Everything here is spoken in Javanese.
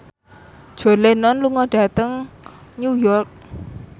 John Lennon lunga dhateng New York